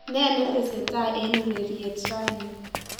nen netesetai en ureryet raini